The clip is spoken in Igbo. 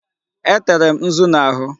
Etere m nzu n'ahụ.